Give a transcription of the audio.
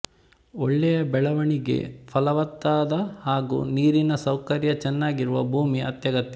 ಒಳ್ಳೆಯ ಬೆಳೆವಣಿಗೆ ಫಲವತ್ತಾದ ಹಾಗೂ ನೀರಿನ ಸೌಕರ್ಯ ಚೆನ್ನಾಗಿರುವ ಭೂಮಿ ಅತ್ಯಗತ್ಯ